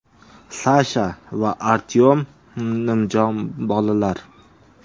Sasha va Artyom nimjon bolalar.